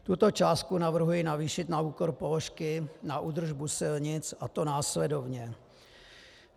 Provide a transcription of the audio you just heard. Tuto částku navrhuji navýšit na úkor položky na údržbu silnic, a to následovně.